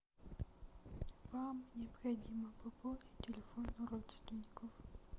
вам необходимо пополнить телефон родственников